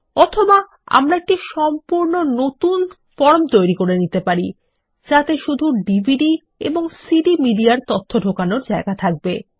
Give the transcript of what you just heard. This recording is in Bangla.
অথবা আমরা একটি সম্পূর্ণ নতুন ফর্ম তৈরী করে নিতে পারি যাতে শুধু ডিভিডি এবং সিডি মিডিয়ার তথ্য ঢোকানোর জায়গা থাকবে